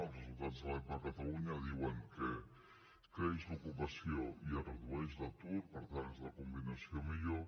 els resultats de l’epa a catalunya diuen que creix l’ocupació i es redueix l’atur per tant és la combinació millor